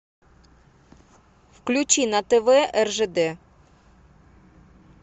включи на тв ржд